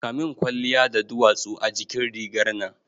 Kamin kwalliya da duwatsu a jikin rigar nan